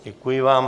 Děkuji vám.